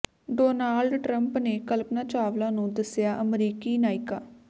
Donald Trump ਨੇ ਕਲਪਨਾ ਚਾਵਲਾ ਨੂੰ ਦੱਸਿਆ ਅਮਰੀਕੀ ਨਾਇਕਾ